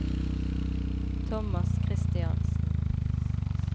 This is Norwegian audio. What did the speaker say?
Thomas Christiansen